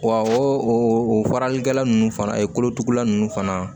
Wa o faralikɛla ninnu fana kolotugula ninnu fana